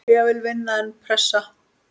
Ég vil vinna, en pressa?